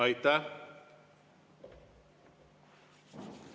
Aitäh!